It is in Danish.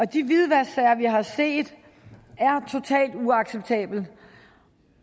de hvidvasksager vi har set er totalt uacceptable